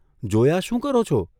જોયા શું કરો છો?